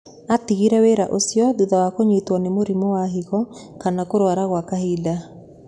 Atigĩrĩre wĩra ũcio thutha wa kũnyitwo nĩ mũrimũwa higo na kũrwara gwa kahinda.